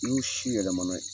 N'i y'u si yɛlɛmana ye